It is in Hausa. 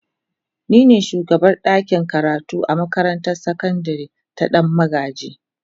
Ni ne shugabar dakin karatu a makarantar sakandare ta Dan magaji.